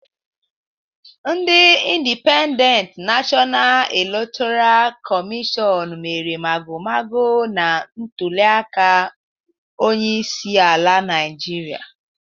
Ndị Indipendent Nashọna Elektọra Kọmịshọn mere mago mago na ntuliaka onyeisiala Naịjirịa